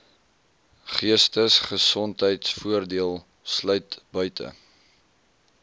geestesgesondheidvoordeel sluit buite